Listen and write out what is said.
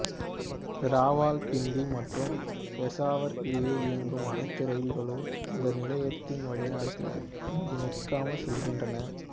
இராவல்பிண்டி மற்றும் பெசாவர் இடையே இயங்கும் அனைத்து இரயில்களும் இந்த நிலையத்தின் வழியாக இங்கு நிற்காமல் செல்கின்றன